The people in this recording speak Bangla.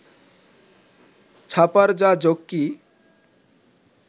ছাপার যা ঝক্কি